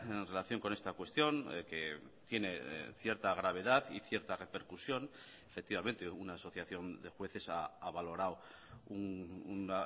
en relación con esta cuestión que tiene cierta gravedad y cierta repercusión efectivamente una asociación de jueces ha valorado un